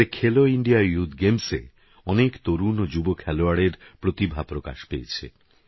এবারেখেলোইন্ডিয়াyouthগেমসএঅনেকতরুণওযুবখেলোয়াড়েরপ্রতিভাপ্রকাশ পেয়েছে